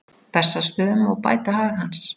Bessastöðum og bæta hag hans.